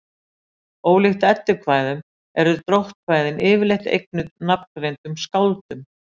Ólíkt eddukvæðum eru dróttkvæðin yfirleitt eignuð nafngreindum skáldum.